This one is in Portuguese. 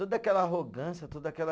Toda aquela arrogância, toda aquela